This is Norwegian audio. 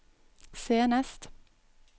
senest